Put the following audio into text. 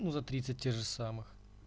ну за тридцать тех же самых